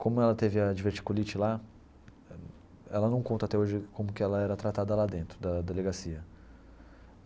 Como ela teve a diverticulite lá, ela não conta até hoje como que ela era tratada lá dentro da delegacia.